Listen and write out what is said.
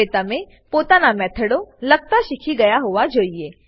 હવે તમે પોતાના મેથડો લખતા શીખી ગયા હોવા જોઈએ